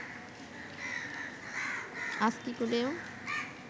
ASCII কোডেও